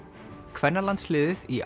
kvennalandsliðið í